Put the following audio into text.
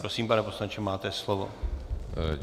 Prosím, pane poslanče, máte slovo.